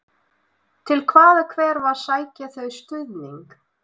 Til hvaða hverfa sækja þau stuðning?